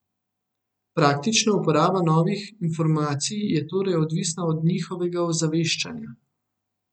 Praktična uporaba novih informacij je torej odvisna od njihovega ozaveščanja.